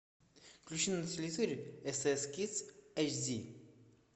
включи на телевизоре стс кидс эйч ди